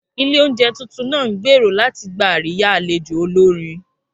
Ilé oúnjẹ tuntun náà ń gbèrò láti gba àríyá àlejò olórin